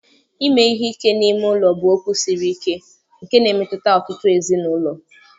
ime ihe ike n'ime ụlọ bụ okwu siri ike nke na-emetụta ọtụtụ ezinụlọ.